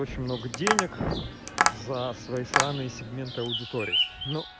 очень много денег за своей сраные сегменты аудиторий но